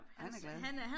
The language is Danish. Han er glad